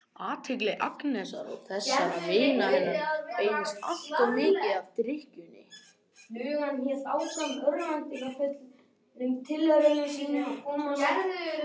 Athygli Agnesar og þessara vina hennar beinist alltof mikið að drykkjunni.